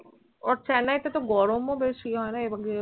ওর Chennai এ তো গরম ও বেশি হয় না